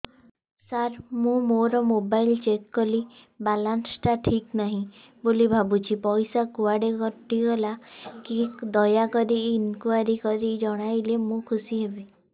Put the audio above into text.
ସାର ମୁଁ ମୋର mobile check କଲି ବାଲାନ୍ସ ଟା ଠିକ ନାହିଁ ବୋଲି ଭାବୁଛି ପଇସା କୁଆଡେ କଟି ଗଲା କି ଦୟାକରି ଇନକ୍ୱାରି କରି ଜଣାଇଲେ ମୁଁ ଖୁସି ହେବି